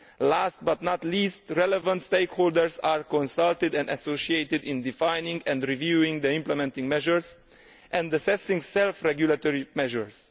Last but not least, relevant stakeholders are consulted and associated in defining and reviewing the implementing measures and assessing self regulatory measures.